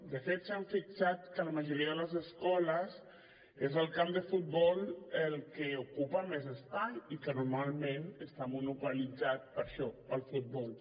de fet s’han fixat que a la majoria de les escoles és el camp de futbol el que ocupa més espai i que normalment està monopolitzat per això pel futbol